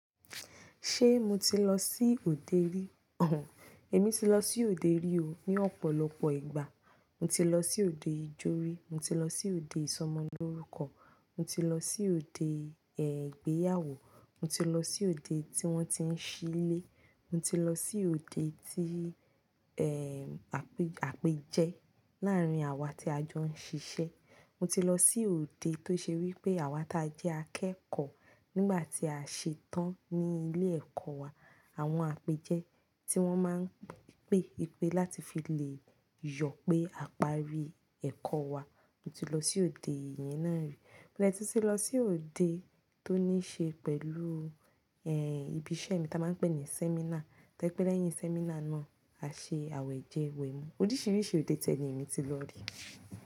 Ṣé mo ti lọ sí òde rí? Oò, èmi ti lọ sí òde rí o, ní ọ̀pọ̀lọpọ̀ ìgbà. Mo ti lọ sí òde ijó rí, mo ti lọ sí òde ìsọmọlórúkọ, mo ti lọ sí òde ẹ igbéyàwó, mo ti lọ sí òde tí wọ́n ti ń ṣílè, mo ti lọ sí òde tí, ẹ́, àpéjẹ láàárín àwa tí a jọ ń ṣiṣẹ́. Mo ti lọ sí òde tó ṣe wí pé àwa ta jẹ́ akẹ́kọ̀ọ́ nígbà tí a ṣe tán ní ilé ẹ̀kọ́ wa àwọn àpéjẹ tí wọ́n máa ń pè wipè láti fi lè yọ pé àparí ẹ̀kọ́ wa, mo ti lọ sí òde ìyẹn náà rí. Mo de tun tì lọ sí òde tó ní ṣe pẹ̀lú, ẹ́, ibi iṣẹ́ mi ta máa ń pè ní sẹ́mínà. To jepé lẹ́yìn sẹ́mínà náà, a ṣe àwẹ̀jẹwẹ̀mu. Oríṣiríṣi òde ti e ni èmi ti lọ rí.